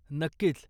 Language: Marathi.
नक्कीच.